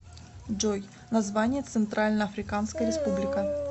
джой название центральноафриканская республика